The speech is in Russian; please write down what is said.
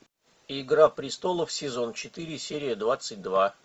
игра престолов сезон четыре серия двадцать два